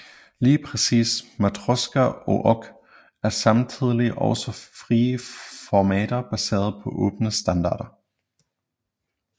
Lige præcis Matroska og Ogg er samtidig også frie formater baseret på åbne standarder